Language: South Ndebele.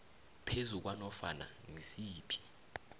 phezu kwanofana ngisiphi